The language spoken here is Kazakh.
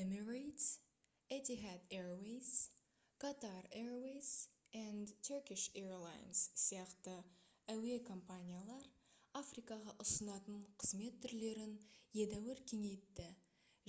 emirates etihad airways qatar airways & turkish airlines сияқты әуе компаниялар африкаға ұсынатын қызмет түрлерін едәуір кеңейтті